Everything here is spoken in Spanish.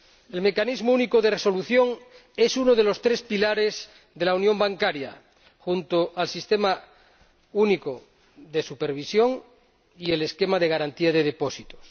El Mecanismo Único de Resolución es uno de los tres pilares de la unión bancaria, junto al Mecanismo Único de Supervisión y el sistema de garantía de depósitos.